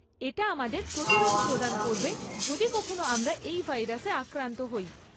এটা আমাদের প্রতিরোধ প্রদান করবে যদি কখনও আমরা এই ভাইরাসে আক্রান্ত হই।